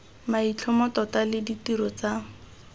maitlhomo tota le ditiro tsa